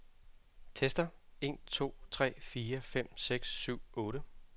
Tester en to tre fire fem seks syv otte.